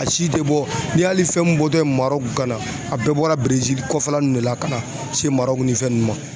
A si tɛ bɔ n'i y'a hali fɛn min bɔtɔ ye Maroku kana a bɛɛ bɔra Bresil kɔfɛla nunnu de la ka na se Marok ni fɛn nunnu ma.